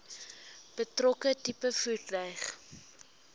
betrokke tipe voertuig